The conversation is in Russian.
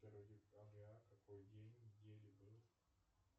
первое декабря какой день недели был